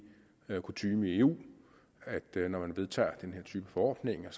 kutyme i eu at når man vedtager den her type forordninger